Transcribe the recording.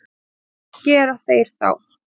Hvað gera þeir þá?